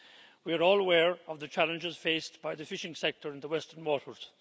We are all aware of the challenges faced by the fishing sector in the western waters.